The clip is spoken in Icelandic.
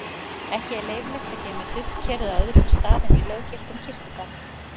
ekki er leyfilegt að geyma duftkerið á öðrum stað en í löggiltum kirkjugarði